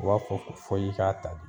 U b'a fɔ ko fɔ i k'a ta bi